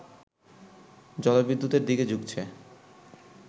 জলবিদ্যুতের দিকে ঝুঁকছে